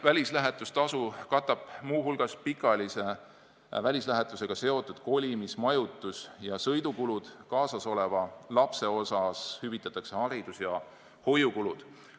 Välislähetustasu katab muu hulgas pikaajalise välislähetusega seotud kolimis-, majutus- ja sõidukulud, kaasasoleva lapse puhul hüvitatakse haridus- ja hoiukulud.